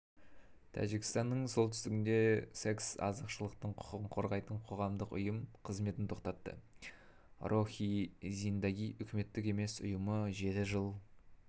тәжікстанның солтүстігінде секс-азшылықтың құқығын қорғайтын қоғамдық ұйым қызметін тоқтатты рохи зиндаги үкіметтік емес ұйымы жеті жыл